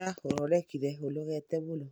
Ira oronekire ũnogete mũno